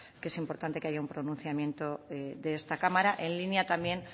que es importante que haya un pronunciamiento de esta cámara en línea también